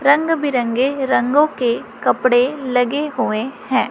रंग बिरंगे रंगों के कपड़े लगे हुए हैं।